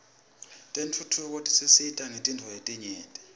tentfutfuko tisisita ngetintfo letinyenti